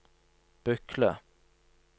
Bykle